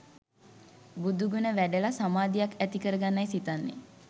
බුදු ගුණ වැඩල සමාධියක් ඇති කරගන්නයි සිතන්නේ.